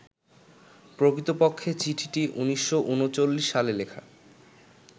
প্রকৃতপক্ষে চিঠিটি ১৯৩৯ সালে লেখা